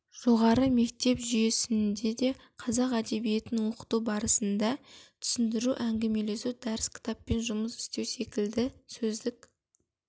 жоғары мектеп жүйесінде де қазақ әдебиетін оқыту барысында түсіндіру әңгімелесу дәріс кітаппен жұмыс істеу секілді сөздік